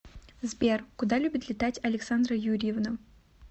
сбер куда любит летать александра юрьевна